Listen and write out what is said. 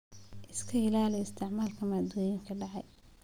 Iska ilaali isticmaalka maaddooyinka dhacay.